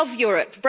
We love Europe